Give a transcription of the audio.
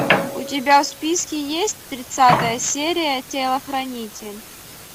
у тебя в списке есть тридцатая серия телохранитель